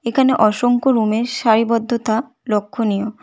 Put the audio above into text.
এখানে অসংখ্য রুমের সারিবদ্ধতা লক্ষ্যণীয়।